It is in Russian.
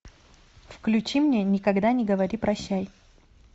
включи мне никогда не говори прощай